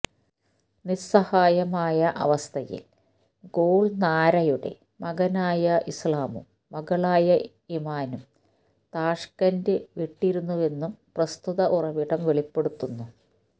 നിസ്സഹായമായ അവസ്ഥയിൽ ഗുൾനാരയുടെ മകനായ ഇസ്ലാമും മകളായ ഇമാനും താഷ്കെന്റ് വിട്ടിരുന്നുവെന്നും പ്രസ്തുത ഉറവിടം വെളിപ്പെടുത്തുന്നു